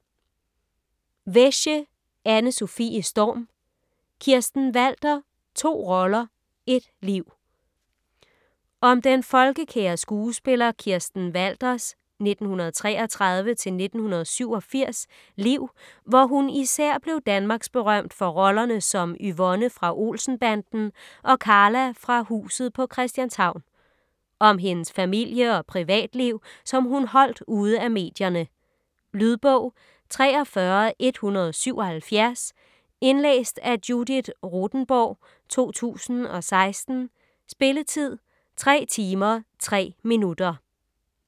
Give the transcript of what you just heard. Wesche, Anne-Sofie Storm: Kirsten Walther: to roller - ét liv Om den folkekære skuespiller Kirsten Walthers (1933-1987) liv, hvor hun især blev danmarksberømt for rollerne som Yvonne fra Olsen-Banden og Karla fra Huset på Christianshavn. Om hendes familie- og privatliv, som hun holdt ude af medierne. Lydbog 43177 Indlæst af Judith Rothenborg, 2016. Spilletid: 3 timer, 3 minutter.